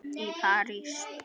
í París.